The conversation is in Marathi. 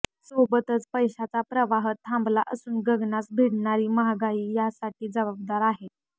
सोबतच पैशाचा प्रवाह थांबला असून गगनास भिडणारी महागाईही यासाठी जबाबदार आहे